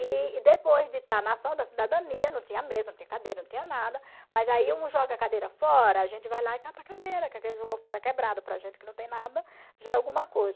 E e depois de estar na ação da cidadania, não tinha mesa, não tinha cadeira, não tinha nada, mas aí um joga a cadeira fora, a gente vai lá e cata a cadeira, que aquele jogou fora quebrado para a gente que não tem nada, já é alguma coisa.